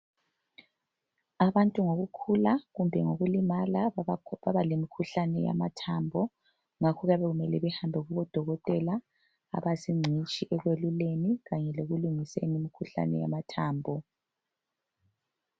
Abantu ngokukula kumbe lokulimala babalemikhuhlani yamathambo, ngakho kubemele bahambe kubo dokotela abayizicitshi ekuyeluleni kanye lokulungiseni imikhuhlane yamathambo.